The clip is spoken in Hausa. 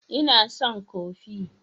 Ina son kofi